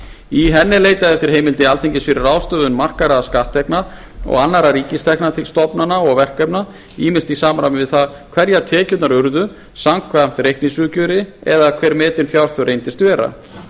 í henni er leitað eftir heimild alþingis fyrir ráðstöfun markaðra skatttekna og annarra ríkistekna til stofnana og verkefna ýmist í samræmi við það hverjar tekjurnar urðu samkvæmt reikningsuppgjöri eða hver metin fjárþörf reyndist vera